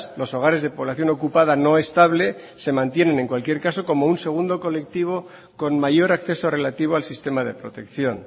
los hogares de población ocupada no estable se mantienen en cualquier caso como un segundo colectivo con mayor acceso relativo al sistema de protección